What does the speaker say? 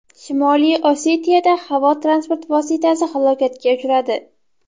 Shimoliy Osetiyada havo transport vositasi halokatga uchradi.